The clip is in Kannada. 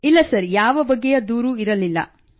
ಇಲ್ಲ ಸರ್ ಯಾವ ಬಗೆಯ ದೂರೂ ಇರಲಿಲ್ಲ